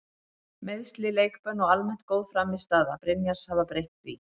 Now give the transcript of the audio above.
Meiðsli, leikbönn og almennt góð frammistaða Brynjars hafa breytt því.